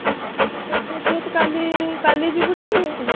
କଣ ଆଉ ତୋର ତ ହେଇଥିବ ତୁ କାଲି କାଲି ଯିବୁଟି?